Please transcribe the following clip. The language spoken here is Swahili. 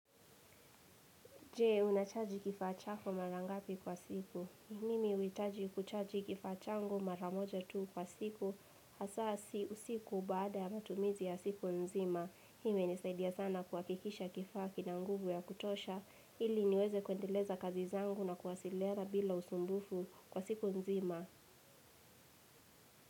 Je, unachaji kifaa chako mara ngapi kwa siku? Mimi huhitaji kuchaji kifaa changu mara moja tu kwa siku. Hasa usiku baada ya matumizi ya siku nzima. Hii imenisaidia sana kuhakikisha kifaa kina nguvu ya kutosha. Ili niweze kuendeleza kazi zangu na kuwasilina bila usumbufu kwa siku nzima.